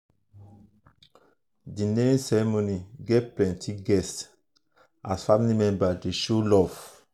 the naming ceremony get plenty guests as family members dey show love.